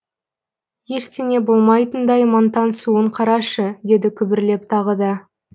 ештеңе болмайтындай мантансуын қарашы деді күбірлеп тағы да